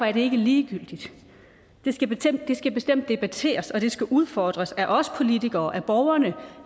er ikke ligegyldigt det skal bestemt debatteres og det skal udfordres af os politikere af borgerne